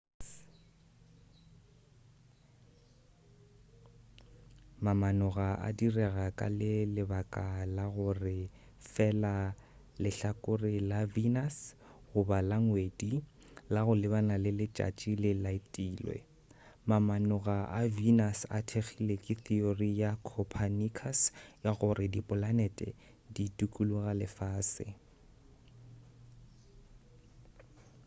mamanoga a direga ka le baka la gore fela lehlakore la venus goba la ngwedi la go lebana le letšatši le laetilwe. mamanoga a venus a thekgile theory ya copernicus ya gore dipolanete di dukuloga lefase